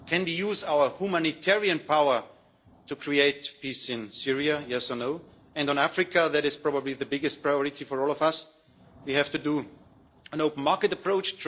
Can we use our humanitarian power to create peace in Syria, yes or no? And on Africa, which is probably the biggest priority for all of us, we have to take an open market approach.